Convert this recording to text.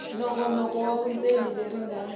nongonoko wa vundzeni leri nga